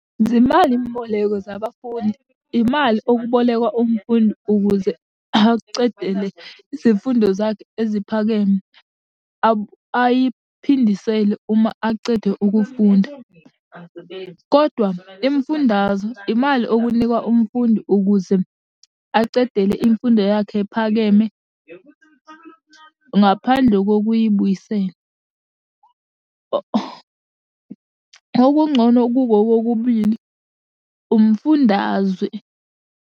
Zimali mboleko zabafundi, imali okubolekwa umfundi ukuze acedele izifundo zakhe eziphakeme. Ayiphindisele uma acede ukufunda, kodwa imifundaze imali okunikwa umfundi ukuze acedele imfundo yakhe ephakeme ngaphandle kokuyibuyisela. Okungcono kuko kokubili umfundazwe.